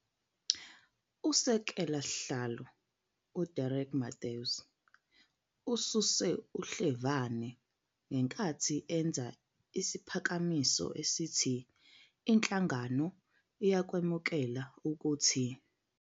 Usekela sihlalo uDerek Mathews ususe uhlevane ngenkathi enza isiphakamiso esithi iNhlangano uyakwemukela ukuthi.